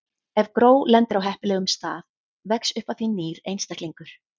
Ef gró lendir á heppilegum stað vex upp af því nýr einstaklingur.